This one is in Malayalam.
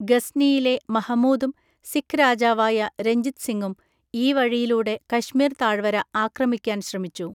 ഗസ്‌നിയിലെ മഹമൂദും സിഖ് രാജാവായ രഞ്ജിത് സിംഗും ഈ വഴിയിലൂടെ കശ്മീർ താഴ്‌വര ആക്രമിക്കാൻ ശ്രമിച്ചു.